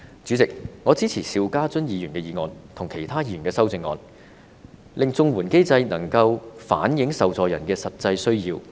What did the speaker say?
主席，我支持邵家臻議員的議案，以及其他議員的修正案，令綜援機制能夠反映受助人的實際需要。